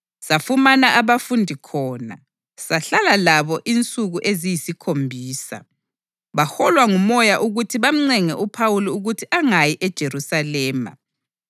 Safumana abafundi khona, sahlala labo insuku eziyisikhombisa. Baholwa nguMoya ukuthi bamncenge uPhawuli ukuthi angayi eJerusalema.